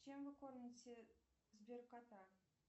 чем вы кормите сбер кота